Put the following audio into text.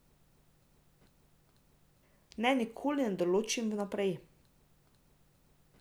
Ne, nikoli ne določim vnaprej.